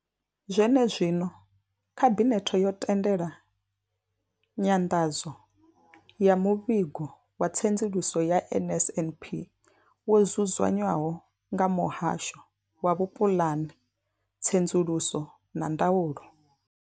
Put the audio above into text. Zwenezwino, khabinethe yo tendela nyanḓadzo ya muvhigo wa tsedzuluso ya NSNP wo dzudzanywaho nga muhasho wa vhupulani, tsedzuluso na ndaulo.